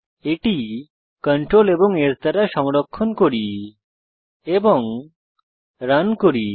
এটি Ctrl এবং S দ্বারা সংরক্ষণ করি এবং রান করি